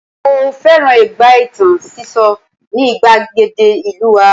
mo fẹràn ìgbà itan siso ni igbagede ìlú wa